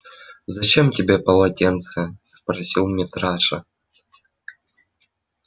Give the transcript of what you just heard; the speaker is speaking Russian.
зачем тебе полотенце спросил митраша